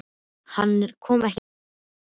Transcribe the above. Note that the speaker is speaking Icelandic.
Nei, hann kom ekki hingað með Ólafi.